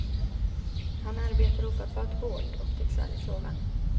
Han arbetar ofattbart hårt och tycks aldrig sova.